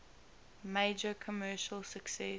major commercial success